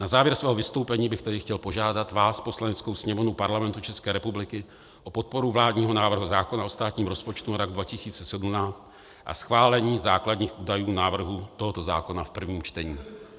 Na závěr svého vystoupení bych chtěl požádat vás, Poslaneckou sněmovnu Parlamentu České republiky, o podporu vládního návrhu zákona o státním rozpočtu na rok 2018 a schválení základních údajů návrhu tohoto zákona v prvním čtení.